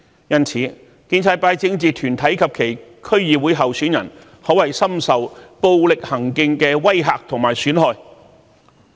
因此，建制派政治團體及其區議會候選人，可謂深受暴力行徑的威嚇和損害。